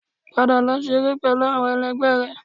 Padà lọ ṣeré pẹlú àwọn ẹlẹgbẹ́ rẹ